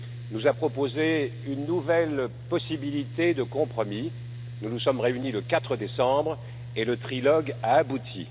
nous a proposé une nouvelle possibilité de compromis, nous nous sommes réunis le 4 décembre, et le trilogue a abouti.